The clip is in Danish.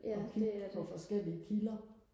ja det er det